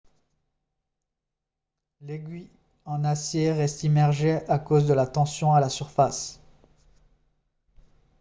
l'aiguille en acier reste immergée à cause de la tension à la surface